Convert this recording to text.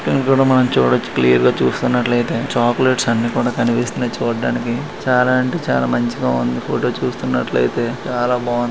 ఎండుకంటె మనం చూడొచ్చు క్లియర్ గా చూస్తున్నట్లైతే చోక్లెట్స్ అన్నీ కూడా కనిపిస్తున్నాయి చూడడానికి చాలా అంటే చాలా మంచిగా ఉందీ ఫోటో చుస్తునట్లైతే చాలా బాగుందీ.